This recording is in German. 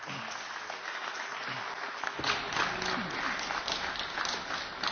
Ganz sicher gibt es keine göttlichen Gebote, die in den EU Verträgen stehen, Herr Ministerpräsident.